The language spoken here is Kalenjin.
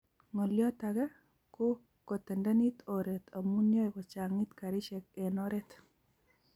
ngolyot age, ko kotendendenit oret amu yae kochangit karishek eng oret